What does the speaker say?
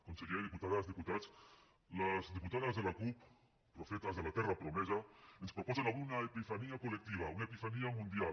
conseller diputades diputats les diputades de la cup profetes de la terra promesa ens proposen avui una epifania col·lectiva una epifania mundial